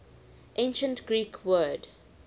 ancient greek word